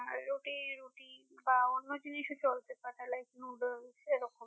আর রুটি রুটি বা অন্য জিনিসও চলছে মানে like noodles এ রকম